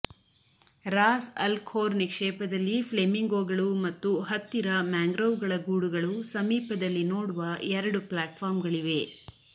Raas Al Khor ನಿಕ್ಷೇಪದಲ್ಲಿ ಫ್ಲೆಮಿಂಗೋಗಳು ಮತ್ತು ಹತ್ತಿರ ಮ್ಯಾಂಗ್ರೋವ್ಗಳ ಗೂಡುಗಳು ಸಮೀಪದಲ್ಲಿ ನೋಡುವ ಎರಡು ಪ್ಲಾಟ್ಫಾರ್ಮ್ಗಳಿವೆ